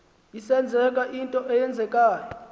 isenzeka into eyenzekayo